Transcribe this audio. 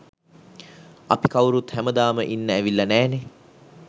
අපි කවුරුත් හැමදාම ඉන්න ඇවිල්ල නෑනෙ.